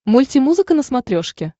мульти музыка на смотрешке